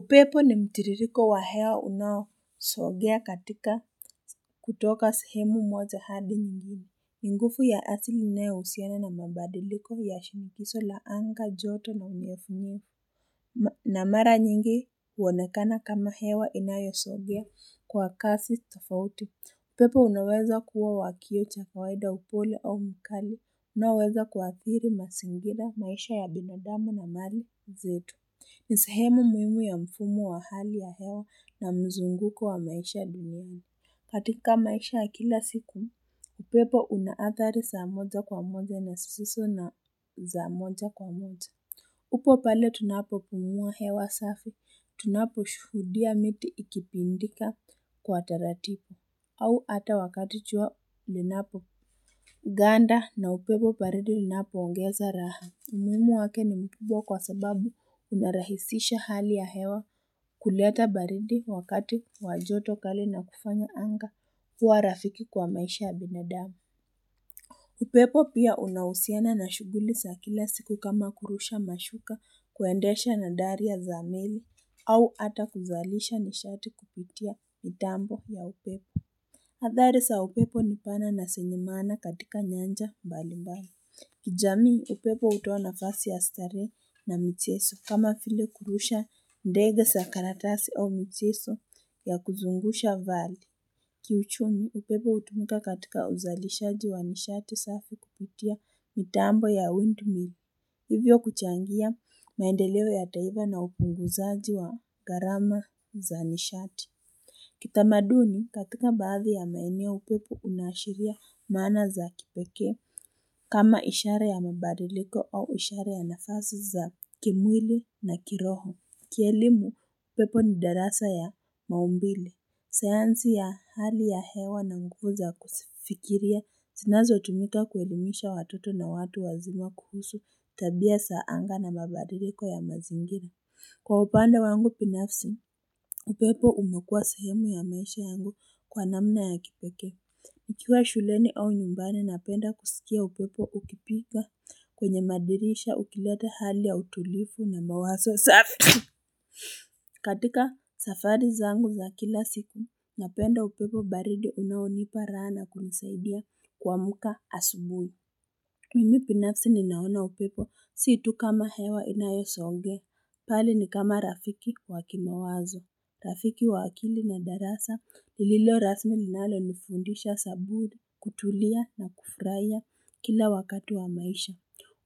Upepo ni mtiririko wa hewa unao sogea katika kutoka sehemu moja hadi nyingine. Nguvu ya asili inayo husiana na mabadiliko ya shinikizo la anga joto na unyevunyevu. Na mara nyingi huonekana kama hewa inayo sogea kwa kasi tofauti. Upepo unaweza kuwa wakio cha kawaida upole au mkali. Unaoweza kuathiri mazingira maisha ya binadamu na mali zetu. Nisehemu muhimu ya mfumo wa hali ya hewa na mzunguko wa maisha duniani katika maisha ya kila siku upepo una athari za moja kwa moja na zisizo za moja kwa moja upo pale tunapo pumua hewa safi, tunapo shuhudia miti ikipindika kwa taratibu, au hata wakati jua linapo ganda na upepo baridi linapo ongeza raha umuhimu wake ni mkubwa kwa sababu unarahisisha hali ya hewa kuleta baridi wakati wajoto kali na kufanya anga kuwa rafiki kwa maisha ya binadamu. Upepo pia unahusiana na shughuli za kila siku kama kurusha mashuka kuendesha na daria za meli au hata kuzalisha nishati kupitia mitambo ya upepo. Athari za upepo nipana na zenye maana katika nyanja mbalimbali. Kijamii upepo hutoa nafasi ya starehe na michezo kama vile kurusha ndege za karatasi au michezo ya kuzungusha vala Kiuchumi upepo hutumuka katika uzalishaji wa nishati safi kupitia mitambo ya windmill Hivyo kuchangia maendeleo ya taifa na upunguzaji wa gharama za nishati Kitamaduni katika baadhi ya maeneo upepo unaashiria maana za kipekee kama ishara ya mabadiliko au ishara ya nafasi za kimwili na kiroho. Kielimu, upepo ni darasa ya maumbile. Sayansi ya hali ya hewa na nguvu za kufikiria zinazo tumika kuelimisha watoto na watu wazima kuhusu tabia za anga na mabadiliko ya mazingira Kwa upande wangu binafsi, upepo umekuwa sehemu ya maisha yangu kwa namna ya kipekee nikiwa shuleni au nyumbani napenda kusikia upepo ukipiga kwenye madirisha ukileta hali ya utulivu na mawazo safi. Katika safari zangu za kila siku, napenda upepo baridi unaonipa raha na kunisaidia kuamka asubuhi. Mimi binafsi ninaona upepo si tu kama hewa inayo songea bali ni kama rafiki wa kimawazo rafiki wa akili na darasa lililo rasmi linalo nifundisha sabudi kutulia na kufurahia kila wakati wa maisha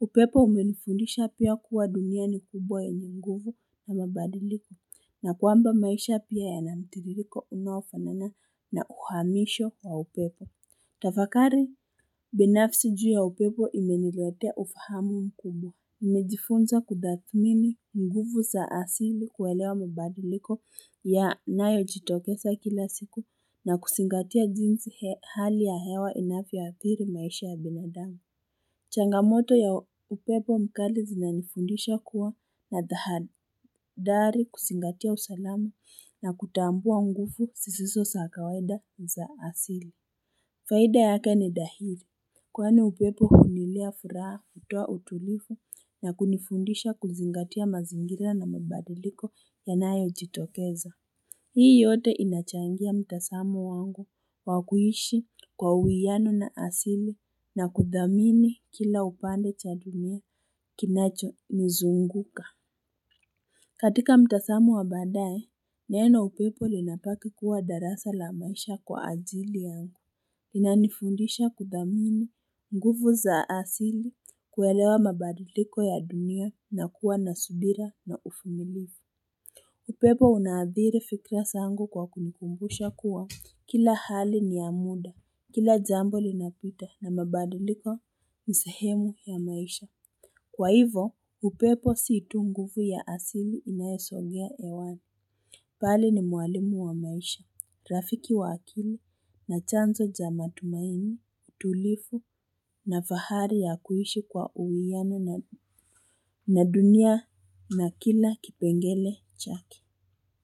upepo umenifundisha pia kuwa dunia ni kubwa yenye nguvu na mabadiliko na kwamba maisha pia yana mtiririko unaofanana na uhamisho wa upepo tafakari binafsi juu ya upepo imeniletea ufahamu mkubwa Nimejifunza kuthamini nguvu za asili kuelewa mabadiliko yanayo jitokeza kila siku na kuzingatia jinsi hali ya hewa inavyo athiri maisha ya binadamu changamoto ya upepo mkali zinanifundisha kuwa na tahathari kuzingatia usalama na kutambua nguvu zisizo za kawaida za asili Faida yake ni dhahiri. Kwani upepo huniletea furaha kutoa utulivu na kunifundisha kuzingatia mazingira na mabadiliko yanayo jitokeza. Hii yote inachangia mtazamo wangu wakuishi kwa uwiano na asili na kuthamini kila upande cha dunia kinacho nizunguka. Katika mtazamo wa baadae, neno upepo linabaki kuwa darasa la maisha kwa ajili yangu. Inanifundisha kuthamini nguvu za asili kuelewa mabadiliko ya dunia na kuwa na subira na uvumilivu upepo una athiri fikra zaangu kwa kunikumbusha kuwa kila hali ni ya muda Kila jambo linapita na mabadiliko ni sehemu ya maisha Kwa hivo upepo si tu nguvu ya asili inayosogea hewani bali ni mwalimu wa maisha, rafiki wa akili na chanzo cha matumaini, tulivu na fahari ya kuishi kwa uwiano na dunia na kila kipengele chake.